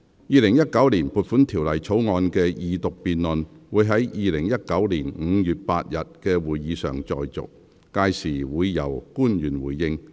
《2019年撥款條例草案》的二讀辯論會在2019年5月8日的會議上再續，屆時會由官員回應。